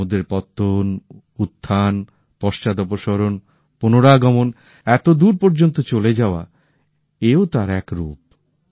সমুদ্রের ঢেউএর পতন উত্থান পশ্চাদপসরণ পুনরাগমন এতদূর পর্যন্ত চলে যাওয়া এও তার এক রূপ